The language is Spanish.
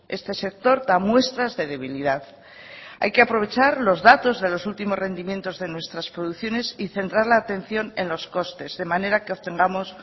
este sector da muestras de debilidad hay que aprovechar los datos de los últimos rendimientos de nuestras producciones y centrar la atención en los costes de manera que obtengamos